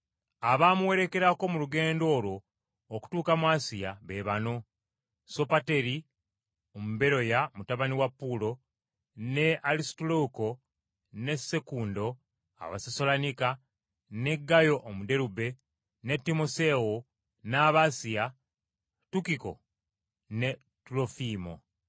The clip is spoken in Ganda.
Abaamuwerekerako mu lugendo olwo okutuuka mu Asiya, be bano: Sopateri Omuberoya mutabani wa Puulo, ne Alisutaluuko ne Sekundo Abasessaloniika, ne Gaayo Omuderube, ne Timoseewo, n’Abasiya, Tukiko ne Tulofiimo.